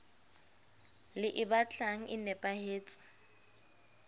le e batlang e nepahetse